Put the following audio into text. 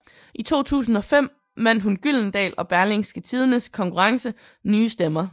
I 2005 vandt hun Gyldendal og Berlingske Tidendes konkurrence Nye Stemmer